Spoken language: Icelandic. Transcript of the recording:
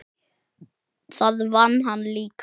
Það vann hann líka.